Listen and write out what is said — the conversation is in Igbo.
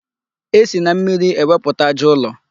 E si na mmiri egwupụta aja ụlọ.